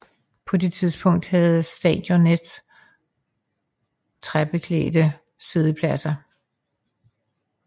På det tidspunkt havde stadionet træklædte siddepladser